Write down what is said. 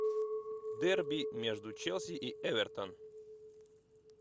дерби между челси и эвертон